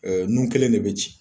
Ɛɛ nun kɛlen de be ci